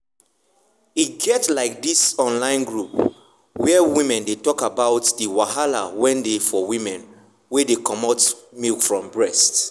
e get like this online group where women dey talk about about the wahala wen dey for women wen dey comot milk from breast.